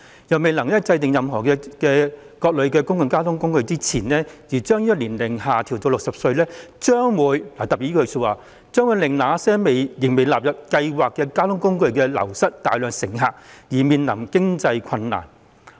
如未能制訂如何加入更多類型的公共交通工具前，推行將年齡資格下調至60歲，將會令那些仍未納入優惠計劃的公共交通工具流失大量乘客，因而面臨經濟困難。